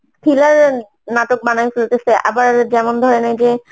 thriller এর নাটক বানায়ে ফেলতেসে আবার যেমন ধরেন এই যে